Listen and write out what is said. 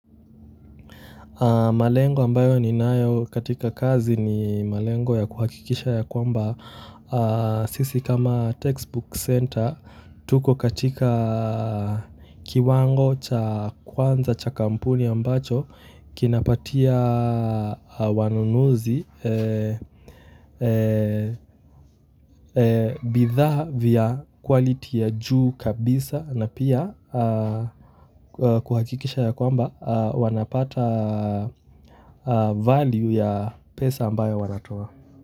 Malengo ambayo ninayo katika kazi ni malengo ya kuhakikisha ya kwamba, sisi kama textbook center, tuko katika kiwango cha kwanza cha kampuni ambacho, kinapatia wanunuzi, bidhaa vya quality ya juu kabisa na pia kuhakikisha ya kwamba wanapata value ya pesa ambayo wanatoa.